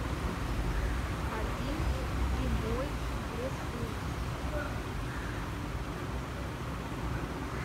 один зимой в лесу